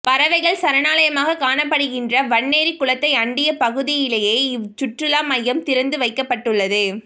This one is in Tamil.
பறவைகள் சரணாலயமாகக் காணப்படுகின்ற வன்னேரிக் குளத்தை அண்டிய பகுதியிலேயே இவ் சுற்றுலா மையம் திறந்து வைக்கப்பட்டுள்ளது